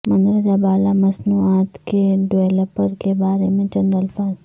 مندرجہ بالا مصنوعات کے ڈویلپر کے بارے میں چند الفاظ